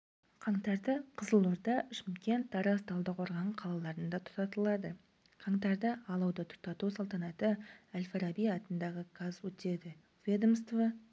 қаңтарда қызылорда шымкент тараз талдықорған қалаларында тұтатылады қаңтарда алауды тұтату салтанаты әл-фараби атындағы қаз өтеді ведомство